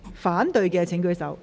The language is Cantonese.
反對的請舉手。